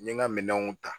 N ye n ka minɛnw ta